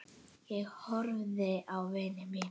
Ég horfði á vini mína.